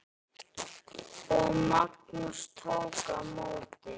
Og Magnús tók á móti?